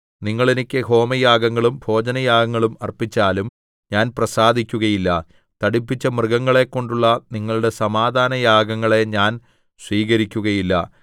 നിങ്ങൾ എനിക്ക് ഹോമയാഗങ്ങളും ഭോജനയാഗങ്ങളും അർപ്പിച്ചാലും ഞാൻ പ്രസാദിക്കുകയില്ല തടിപ്പിച്ച മൃഗങ്ങളെകൊണ്ടുള്ള നിങ്ങളുടെ സമാധാനയാഗങ്ങളെ ഞാൻ സ്വീകരിക്കുകയില്ല